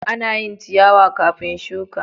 Ana yin ciyawa kafin shuka.